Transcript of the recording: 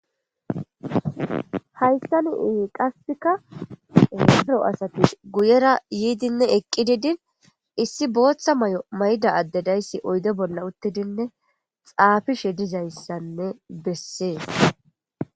hayssani qassika oaero asatis guyera yiidinne eqqi didin issi booththa may7o mayda addedayssi oydo bolla uttidinne xaafishe dizayssanne besses.